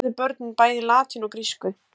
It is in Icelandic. Oft lærðu börnin bæði latínu og grísku.